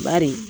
Bari